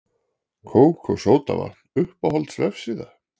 kók og sódavatn Uppáhalds vefsíða?